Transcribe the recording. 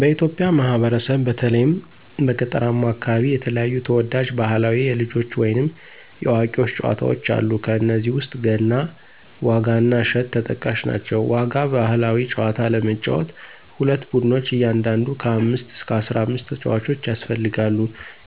በኢትዮጵያ ማህበረሰብ በተለይም በገጠራማው አከባቢ የተለያዩ ተወዳጅ ባህላዊ የልጆች ወይንም የአዋቂዎች ጨዋታወች አሉ። ከነዚህም ውስጥ ገና፣ ዋጋ እና እሸት ተጠቃሽ ናቸው። ዋጋ ባህላዊ ጨዋታ ለመጫወት ሁለት ቡድኖች እያንዳንዱ ከ አምስት እስከ አስራአምስት ተጫዋቾች ያስፈልጋሉ።